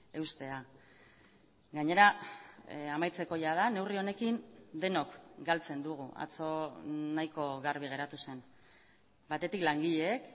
eustea gainera amaitzeko jada neurri honekin denok galtzen dugu atzo nahiko garbi geratu zen batetik langileek